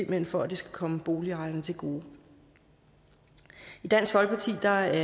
hen for at det skal komme boligejerne til gode i dansk folkeparti er